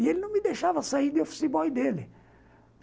E ele não me deixava sair de office boy dele.